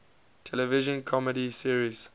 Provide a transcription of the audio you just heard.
television comedy series